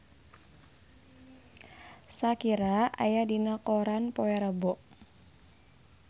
Shakira aya dina koran poe Rebo